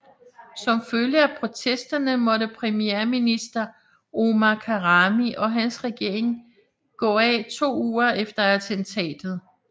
Som følge af protesterne måtte premierminister Omar Karami og hans regering gik af to uger efter attentatet